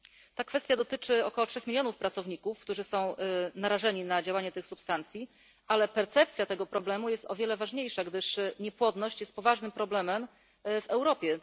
Ta kwestia dotyczy około trzech milionów pracowników, którzy są narażeni na działanie tych substancji, ale percepcja tego problemu jest o wiele ważniejsza, gdyż niepłodność jest poważnym problemem w Europie.